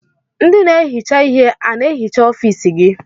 Ndị na-ehicha ihe a na-ehicha ọfiisi gị?